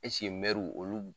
Esike mɛruw olu bu